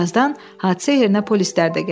Birazdən hadisə yerinə polislər də gəldi.